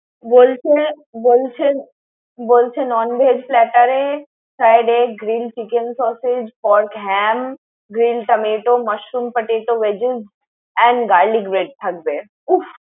বলছে বলছেন বলছে non veg platter এ friedd egg, grill chicken sausage, pork ham, grill tomato, masroom potato veggies and garlic bread থাকবে। উফ!